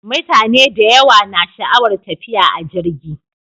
Mutane da yawa na sha'awar tafiya a jirgi.